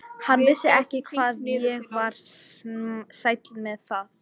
Hann vissi ekki hvað ég var sæll með það.